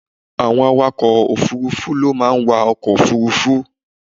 Àwọn Awakọ̀ òfuurufú ló máa ń wa ọkọ̀ òfuurufú.